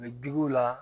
U bɛ digi u la